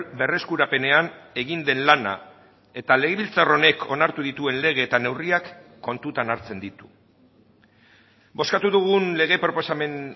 berreskurapenean egin den lana eta legebiltzar honek onartu dituen lege eta neurriak kontutan hartzen ditu bozkatu dugun lege proposamen